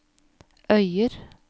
Øyer